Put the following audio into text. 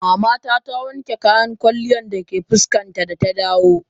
Mama ta, ta wanke kayan ƙwalya da ke fuskar ta da ta dawo.